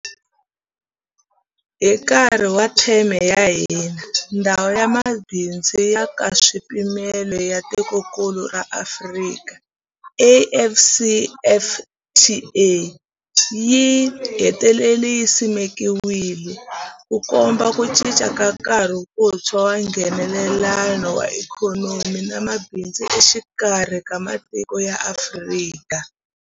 Hi nkarhi wa theme ya hina, Ndhawu ya Mabindzu ya Nkaswipimelo ya Tikokulu ra Afrika, AfCFTA, yi hetelele yi simekiwile, Ku komba ku cinca ka nkarhi wuntshwa wa Nghenelelano wa ikhonomi na mabindzu exikarhi ka matiko ya Afrika.